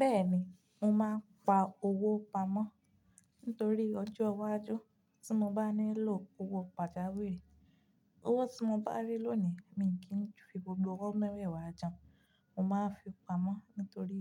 Bẹ́ẹ̀ni, mo máa ń pa owó pamọ́ nítorí ọjọ́ iwájú tí mo bá nílò owó pàjàwìrì. Owó tí mo bá rí lónìí, mi kì í fi gbogbo owó mẹwẹ wá jẹun. Mo máa fi pamọ́ nítorí